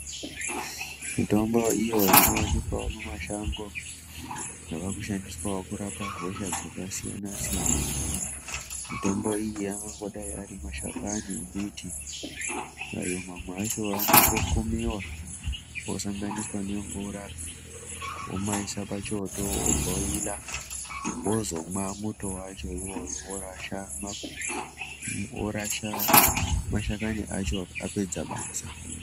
Mitombo iyo inowanikwawo mumashango yava kushandiswa kurapa hosha dzakasiyana siyana, Mitombo iyi angandodai ari mashakani emiti, ayo mamwe acho anongokumiwa osanganiswa nemvura womaisa pachoto obhoila, wozomwa muto wacho iwoyo worasha mashakani acho apedza basa.